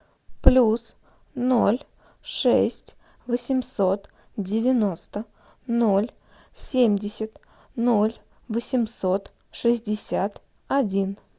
плюс ноль шесть восемьсот девяносто ноль семьдесят ноль восемьсот шестьдесят один